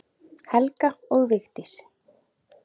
Helga og Vigdís.